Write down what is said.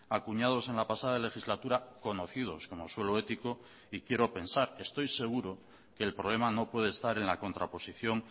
acuñados en la pasada legislatura conocidos como suelo ético y quiero pensar estoy seguro que el problema no puede estar en la contraposición